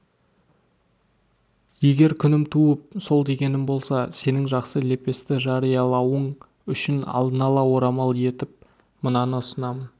егер күнім туып сол дегенім болса сенің жақсы лепесті жариялауың үшін алдын ала орамал етіп мынаны ұсынамын